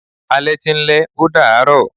Alẹ́ ti ń lẹ́, ó dàá rọ̀.